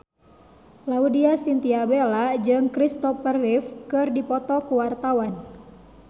Laudya Chintya Bella jeung Kristopher Reeve keur dipoto ku wartawan